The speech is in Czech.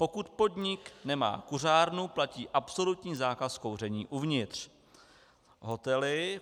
Pokud podnik nemá kuřárnu, platí absolutní zákaz kouření uvnitř.